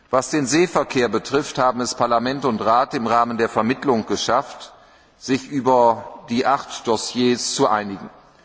Was den Seeverkehr betrifft, haben es Parlament und Rat im Rahmen der Vermittlung geschafft, sich über die 8 Dossiers zu einigen.